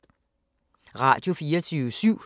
Radio24syv